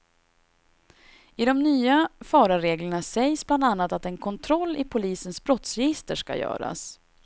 I de nya förarreglerna sägs bland annat att en kontroll i polisens brottsregister ska göras.